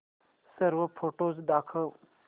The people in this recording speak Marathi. सर्व फोटोझ दाखव